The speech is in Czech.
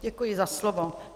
Děkuji za slovo.